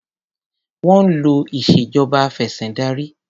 Wọ́n ń lò ìṣèjọba afẹ̀sìndarí.